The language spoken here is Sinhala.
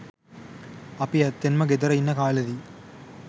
අපි ඇත්තෙන්ම ගෙදර ඉන්න කාලෙදි